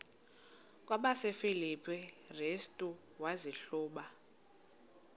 kwabasefilipi restu wazihluba